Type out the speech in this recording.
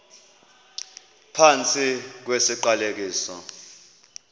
phantsi kwesi siqalekiso